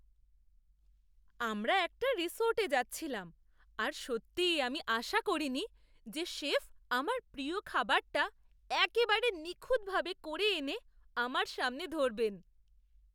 আমরা একটা রিসর্টে যাচ্ছিলাম আর সত্যি আমি আশা করিনি যে শেফ আমার প্রিয় খাবারটা একেবারে নিখুঁতভাবে করে এনে আমার সামনে ধরবেন!